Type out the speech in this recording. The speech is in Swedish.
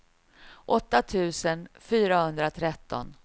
åtta tusen fyrahundratretton